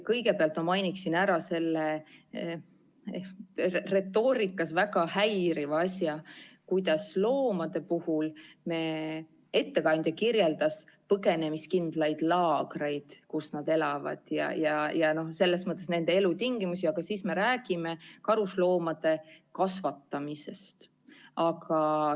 Kõigepealt ma mainin ära selle retoorikas väga häiriva asja, kuidas loomade puhul ettekandja kirjeldas põgenemiskindlaid laagreid, kus nad elavad, ja selles mõttes nende elutingimusi, aga samas me räägime karusloomade kasvatamisest.